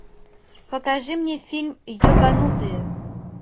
покажи мне фильм йоганутые